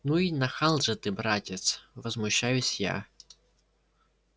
ну и нахал же ты братец возмущаюсь я